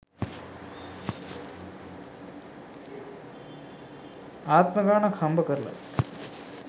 ආත්ම ගාණක් හම්බ කරලත්